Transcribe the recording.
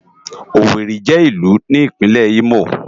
Ówéri jè ilù ni Ipinlè Imó